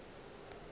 ke ye e ka bago